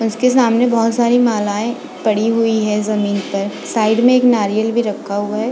उसके सामने बहुत सारी मालाएं पड़ी हुई है ज़मीन पर साइड में एक नारियल भी रखा हुआ है।